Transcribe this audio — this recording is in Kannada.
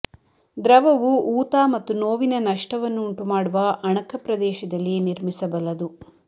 ದ್ರವವು ಊತ ಮತ್ತು ನೋವಿನ ನಷ್ಟವನ್ನು ಉಂಟುಮಾಡುವ ಅಣಕ ಪ್ರದೇಶದಲ್ಲಿ ನಿರ್ಮಿಸಬಲ್ಲದು